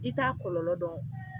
I t'a kɔlɔlɔ dɔn